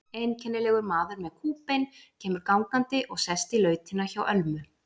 Einkennilegur maður með kúbein kemur gangandi og sest í lautina hjá Ölmu.